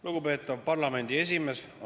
Lugupeetav parlamendi esimees!